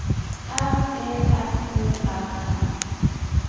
R E F O R M